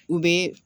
U bɛ